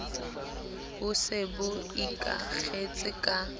bo se bo ikakgetse ka